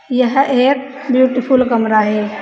यह एक beautiful camera है।